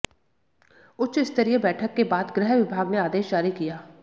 उच्चस्तरीय बैठक के बाद गृह विभाग ने आदेश जारी किया